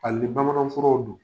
Ali ni bamanan furaw don.